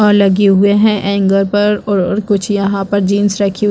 और लगे हुए हैं एंगल पर और कुछ यहाँ पर जींस रखे हुए--